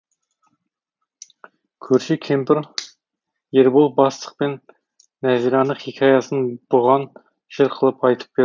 көрші кемпір ербол бастық пен нәзираның хикаясын бұған жыр қылып айтып берді